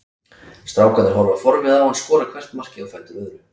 Strákarnir horfa forviða á hann skora hvert markið á fætur öðru.